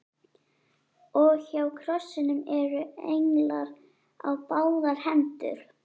Og hjá krossinum eru englar á báðar hendur